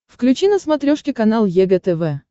включи на смотрешке канал егэ тв